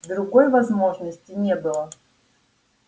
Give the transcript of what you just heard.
другой возможности не было